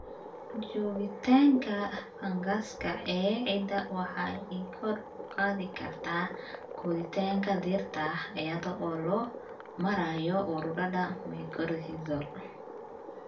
Joogitaanka fangaska ee ciidda waxay kor u qaadi kartaa koritaanka dhirta iyada oo loo marayo ururada mycorrhizal.